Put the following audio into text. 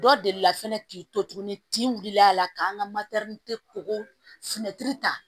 Dɔ delila fɛnɛ k'i to tuguni kin wulila la ka an ka koko